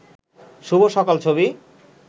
শুভ সকাল ছবি